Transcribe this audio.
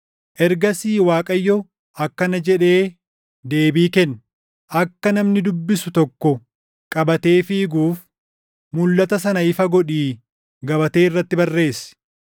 Ergasii Waaqayyo akkana jedhee deebii kenne: “Akka namni dubbisu tokko qabatee fiiguuf, mulʼata sana ifa godhii gabatee irratti barreessi.